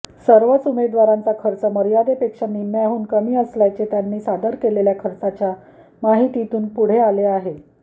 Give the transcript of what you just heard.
सर्वच उमेदवारांचा खर्च मर्यादेपेक्षा निम्म्याहून कमी असल्याचे त्यांनी सादर केलेल्या खर्चाच्या माहितीतून पुढे आले आहे